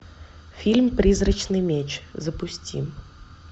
фильм призрачный меч запусти